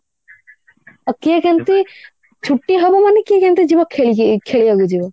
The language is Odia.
ଆଉ କିଏ କେମତି ଛୁଟି ହବ ମନେ କିଏ କେମିତି ଯିବ ଖେଳି ଖେଳିବାକୁ ଯିବ